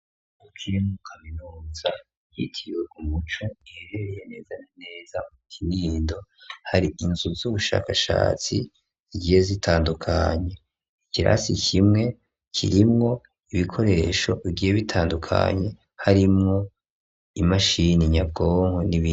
Ishure rya kaminuza ryitiriwe Umuco riherereye neza na neza mu Kinindo, hari inzu z'ubushakashatsi zigiye zitandukanye, ikirasi kimwe kirimwo ibikoresho bigiye bitandukanye harimwo imashini nyabwonko n'ibindi.